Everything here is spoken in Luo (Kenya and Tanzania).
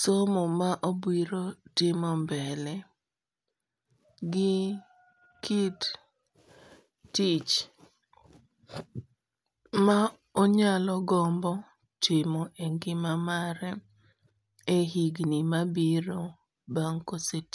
somo ma obiro timo mbele. Gi kit tich ma onyalo gombo timo e ngima mare e higni mabiro bang' kosetiyo.